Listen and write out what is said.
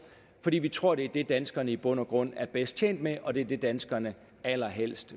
fordi vi tror at det er det danskerne i bund og grund er bedst tjent med og at det er det danskerne allerhelst